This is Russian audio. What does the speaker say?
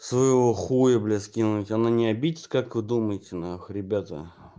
своего хуя блядь скинуть она не обидится как вы думаете нахуй ребята